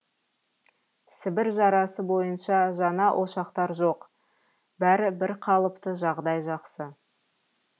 сібір жарасы бойынша жаңа ошақтар жоқ бәрі бірқалыпты жағдай жақсы